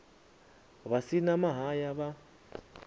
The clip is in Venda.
vha si na mahaya vha